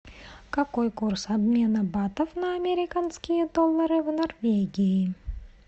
какой курс обмена батов на американские доллары в норвегии